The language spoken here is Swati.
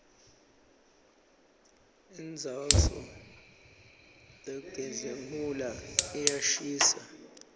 indzauso lerxgenhula iyashisa